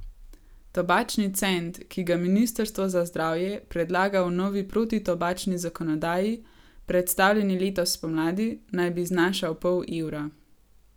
Tobačni cent, ki ga ministrstvo za zdravje predlaga v novi protitobačni zakonodaji, predstavljeni letos spomladi, naj bi znašal pol evra.